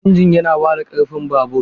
Injin yana ba da ƙarfi babur.